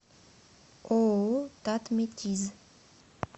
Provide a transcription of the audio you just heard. ооо татметиз